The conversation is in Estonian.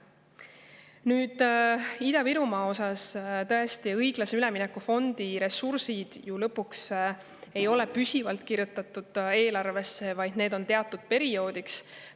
Nüüd, Ida-Virumaa puhul õiglase ülemineku fondi ressursid ei ole püsivalt eelarvesse kirjutatud, need on teatud perioodiks.